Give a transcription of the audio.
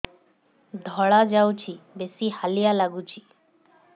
ଧଳା ଯାଉଛି ବେଶି ହାଲିଆ ଲାଗୁଚି